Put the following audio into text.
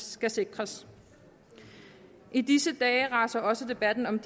skal sikres i disse dage raser også debatten om